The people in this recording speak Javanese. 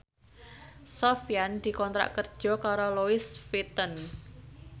Sofyan dikontrak kerja karo Louis Vuitton